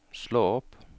slå opp